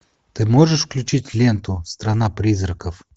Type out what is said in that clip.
ты можешь включить ленту страна призраков